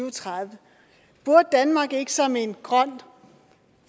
og tredive burde danmark ikke som en grøn